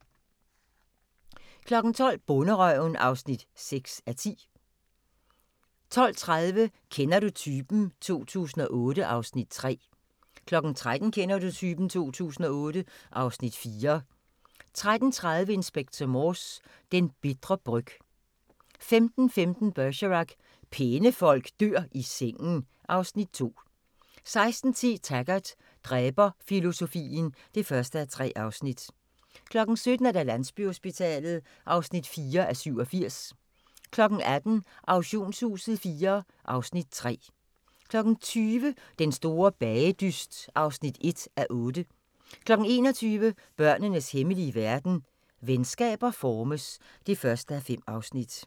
12:00: Bonderøven (6:10) 12:30: Kender du typen? 2008 (Afs. 3) 13:00: Kender du typen? 2008 (Afs. 4) 13:30: Inspector Morse: Den bitre bryg 15:15: Bergerac: Pæne folk dør i sengen (Afs. 2) 16:10: Taggart: Dræberfilosofien (1:3) 17:00: Landsbyhospitalet (4:87) 18:00: Auktionshuset IV (Afs. 3) 20:00: Den store bagedyst (1:8) 21:00: Børnenes hemmelige verden – Venskaber formes (1:5)